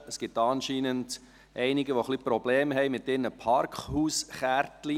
Es gibt anscheinend einige, die ein bisschen Probleme mit ihren Parkhauskarten haben.